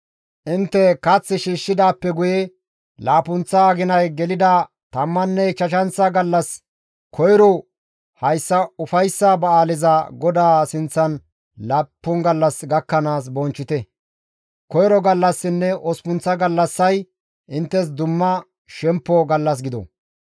«Intte kath shiishshidaappe guye laappunththa aginay gelida tammanne ichchashanththa gallas koyrora hayssa ufayssa ba7aaleza GODAA sinththan laappun gallas gakkanaas bonchchite; koyro gallassinne osppunththa gallassay inttes dumma shemppo gallas gido.